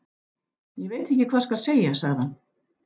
Ég veit ekki hvað skal segja sagði hann.